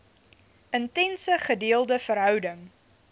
intense gedeelde verhouding